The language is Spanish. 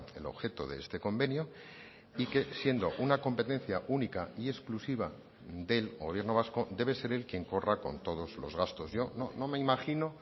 el objeto de este convenio y que siendo una competencia única y exclusiva del gobierno vasco debe ser él quien corra con todos los gastos yo no me imagino